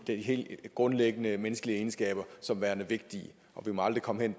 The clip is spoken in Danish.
helt grundlæggende menneskelige egenskaber som værende vigtige og vi må aldrig komme